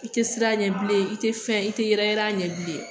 I te sir'a ɲɛ bilen i te fɛn i te yɛrɛ yɛrɛ a ɲɛ bilen